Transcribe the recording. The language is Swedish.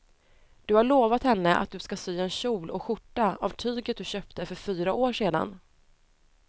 Du har lovat henne att du ska sy en kjol och skjorta av tyget du köpte för fyra år sedan.